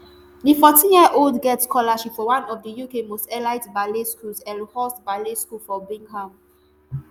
di fourteenyearold get scholarship for one of uk most elite ballet schools elmhurst ballet school for birmingham